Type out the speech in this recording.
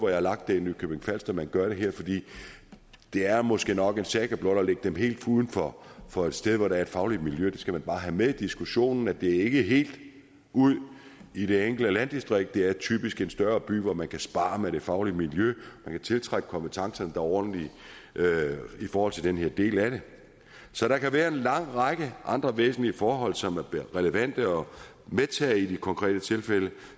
jeg har lagt det i nykøbing falster og man gør det her det er måske nok en saga blot at lægge dem helt uden for for et sted hvor der er et fagligt miljø det skal man bare have med i diskussionen altså at det ikke er helt ude i det enkelte landdistrikt det er typisk i en større by hvor man kan sparre med det faglige miljø og kan tiltrække kompetencer er ordentlige i forhold til den her del af det så der kan være en lang række andre væsentlige forhold som er relevante at medtage i de konkrete tilfælde